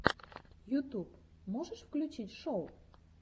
ютуб можешь включить шоу